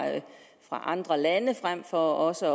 andre lande frem for også